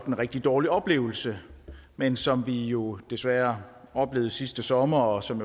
en rigtig dårlig oplevelse men som vi jo desværre oplevede sidste sommer og som